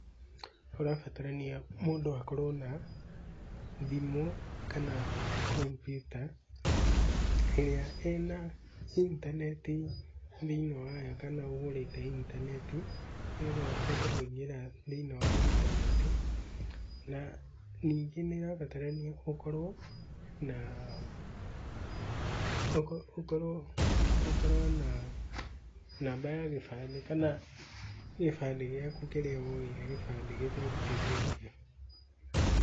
Kũrabatarania mũndũ akorwo na thimũ kana kompiuta ĩrĩa ĩna intaneti thĩiniĩ wayo kana ũgũrĩte intaneti, nĩgetha ũhote kũingĩra thĩiniĩ wa intaneti. Na ningĩ nĩ ĩrabatarania ũkorwo na ũkorwo ũkorwo ũkorwo na namba ya gĩbandĩ kana gĩbandĩ gĩaku kĩrĩa woire, gĩbandĩ gĩtarutithĩtio.